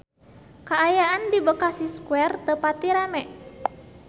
Kaayaan di Bekasi Square teu pati rame